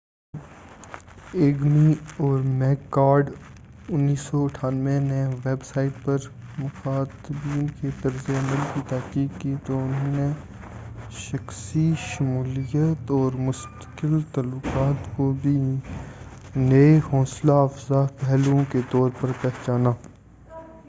جب ایگمی اور میک کارڈ 1998 نے ویب سائٹ پر مخاطبین کے رد عمل کی تحقیق کی، تو انھوں نے شخصی شمولیت اور مستقل تعلقات کو بھی نئے حوصلہ افزاء پہلوؤں کے طور پر پہچانا۔